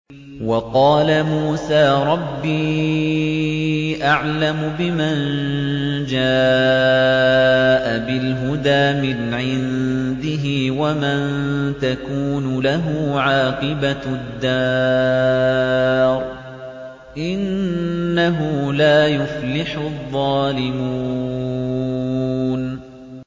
وَقَالَ مُوسَىٰ رَبِّي أَعْلَمُ بِمَن جَاءَ بِالْهُدَىٰ مِنْ عِندِهِ وَمَن تَكُونُ لَهُ عَاقِبَةُ الدَّارِ ۖ إِنَّهُ لَا يُفْلِحُ الظَّالِمُونَ